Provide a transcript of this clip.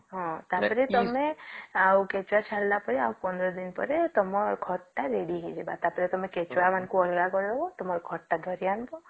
ହଁ ତ ପରେ ତମେ ଆଉ କେଞ୍ଚୁଆ ଛାଡିଲା ପରେ ଆଉ ୧୫ ଦିନ ପରେ ତମର ଖତ ତ ready ହେଇଯିବ ତାପରେ ତମେ କେଞ୍ଚୁଆ ମାନଙ୍କୁ ଅଲଗା କରିଦେବା ତୁମର ଖତ ତ ଧରି ଆଣିବା